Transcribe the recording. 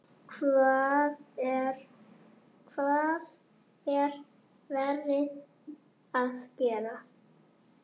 Hvað er verið að gera?